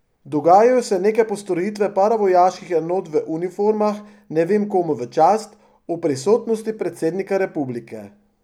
Dogajajo se neke postrojitve paravojaških enot v uniformah ne vem komu v čast, ob prisotnosti predsednika republike.